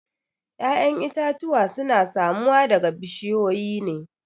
ya'yan itatuwa suna samuwa daga bushiyoyi ne